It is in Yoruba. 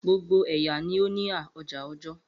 Gbogbo ẹya ni o ni a oja ọjọ